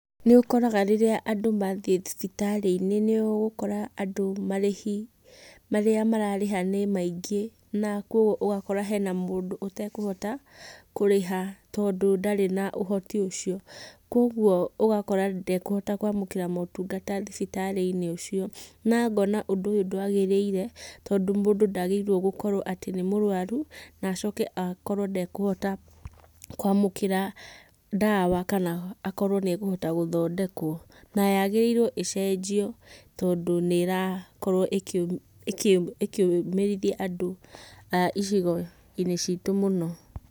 Nĩũkoraga rĩrĩa andũ mathiĩ thibitarĩinĩ nĩ ũgũkora andũ marĩhi marĩa mararĩha nĩmaingĩ na koguo ũgakora hena mũndũ ũtekũhota, kũrĩha tondũ ndarĩ na ũhoti ũcio. Koguo ũgakora ndekũhota kwamũkĩra motungata thibitarĩinĩ ũcio, na ngona ũndũ ũyũ ndwagĩrĩire, tondũ mũndũ ndagĩrĩirwo gũkorwo atĩ nĩ mũrwaru, na acikoe akorwo ndekũhota kwamũkĩra ndawa kana akorwo nĩakũhota gũthondekwo, na yagĩrĩirwo ĩcenjio tondũ nĩrakorwo ĩkĩ ĩkĩ ĩkĩũmĩrithia andũ a icigoinĩ citũ mũno.